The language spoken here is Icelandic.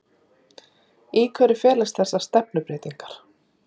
Í hverju felast þessar stefnubreytingar